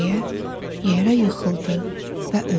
deyə yerə yıxıldı və öldü.